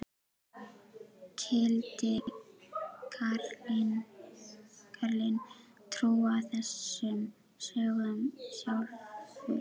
Skyldi karlinn trúa þessum sögum sjálfur?